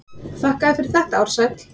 Þakka þér fyrir þetta Ársæll.